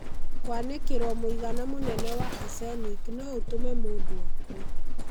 Kwanĩkĩro mũigana mũnene wa arsenic no ũtũme mũndũ akue.